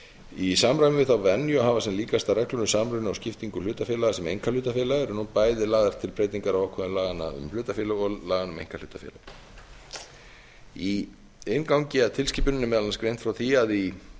í samræmi við þá venju að hafa sem líkastar reglur um samruna og skiptingu hlutafélaga sem einkahlutafélaga eru nú bæði lagðar til breytingar á ákvæðum laganna um hlutafélög og laganna um einkahlutafélög í inngangi að tilskipuninni er meðal annars greint frá því að í